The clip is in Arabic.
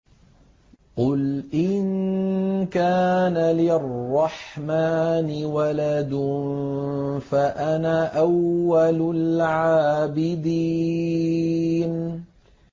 قُلْ إِن كَانَ لِلرَّحْمَٰنِ وَلَدٌ فَأَنَا أَوَّلُ الْعَابِدِينَ